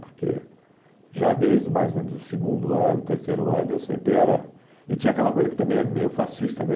Porque já desde mais ou menos o segundo ano, terceiro ano, eu sempre era... E tinha aquela coisa que também é meio fascista, né?